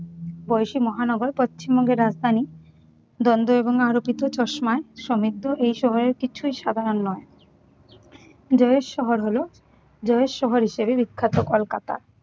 বয়সী মহানগর পশ্চিমবঙ্গের রাজধানী দন্দ্ব এবং আলোকিত চশমায় সমৃদ্ধ এই শহরের কিছুই সাধারণ নয়। জয়ের শহর হলো, জয়ের শহর হিসেবে বিখ্যাত কলকাতা।